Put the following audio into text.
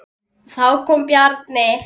Þá kom Bjarni.